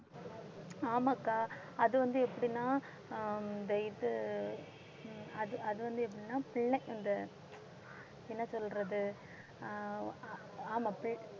ஆமாக்கா அது வந்து எப்படின்னா ஆஹ் இந்த இது அது அது வந்து எப்படின்னா பி~ இந்த என்ன சொல்றது? ஆமா பி~